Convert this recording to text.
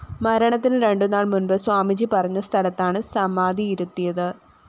മരണത്തിന് രണ്ടുനാള്‍ മുന്‍പ് സ്വാമിജി പറഞ്ഞസ്ഥലത്താണ് സമാധിയിരുത്തിയത്